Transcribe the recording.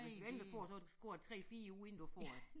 Hvis du endelig får så går der 3 4 uger inden du får det